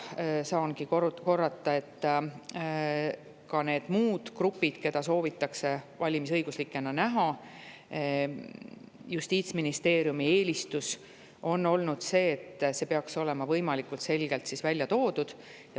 Saan korrata, et ka need muud grupid, keda soovitakse valimisõiguslikena näha – see on olnud Justiitsministeeriumi eelistus –, peaks olema võimalikult selgelt välja toodud.